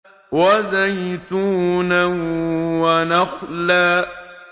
وَزَيْتُونًا وَنَخْلًا